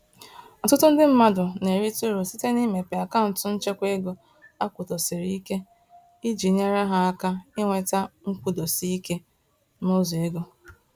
Ọtụtụ ndị mmadụ na-erite uru site n'imepe akaụntụ nchekwaego akwụdosiriike, iji nyèrè ha áká ịnweta nkwụdosike, nụzọ égo